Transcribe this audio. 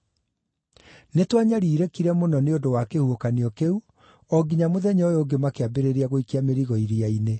Nĩtwanyariirĩkire mũno nĩ ũndũ wa kĩhuhũkanio kĩu o nginya mũthenya ũyũ ũngĩ makĩambĩrĩria gũikia mĩrigo iria-inĩ.